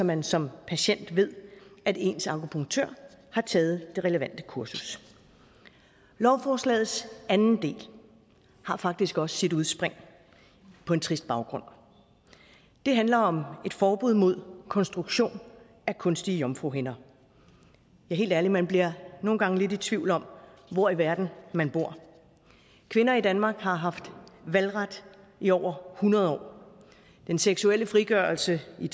man som patient ved at ens akupunktør har taget det relevante kursus lovforslagets anden del har faktisk også sit udspring på en trist baggrund det handler om et forbud mod konstruktion af kunstige jomfruhinder ja helt ærligt man bliver nogle gange lidt i tvivl om hvor i verden man bor kvinder i danmark har haft valgret i over hundrede år den seksuelle frigørelse i